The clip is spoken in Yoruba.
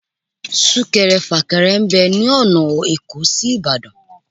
Súnkẹrẹ fàkẹrẹ ń bẹ lọ́nà èkó sí Ìbàdàn